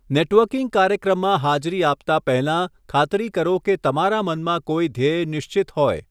Networking કાર્યક્રમમાં હાજરી આપતા પહેલાં, ખાતરી કરો કે તમારા મનમાં કોઈ ધ્યેય નિશ્ચિત હોય.